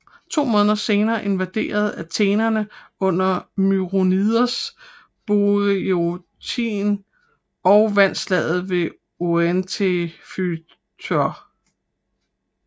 To måneder senere invaderede athenerne under Myronides Boiotien og vandt Slaget ved Oenophyta